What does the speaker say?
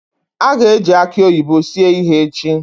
A ga-eji aki oyibo sie ihe echi.